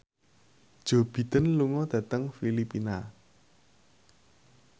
Joe Biden lunga dhateng Filipina